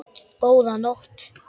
Góða nótt.